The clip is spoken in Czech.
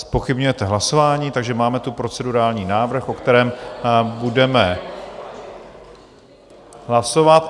Zpochybňujete hlasování, takže máme tu procedurální návrh, o kterém budeme hlasovat.